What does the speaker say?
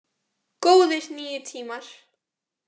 Góðir níu tímar!